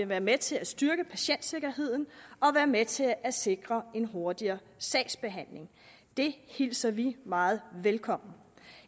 være med til at styrke patientsikkerheden og være med til at sikre en hurtigere sagsbehandling det hilser vi meget velkommen